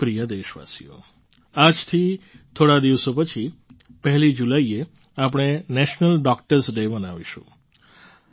મારા પ્રિય દેશવાસીઓ આજથી થોડા દિવસો પછી પહેલી જુલાઈએ આપણે નેશનલ ડૉક્ટર્સ ડે માનવીશું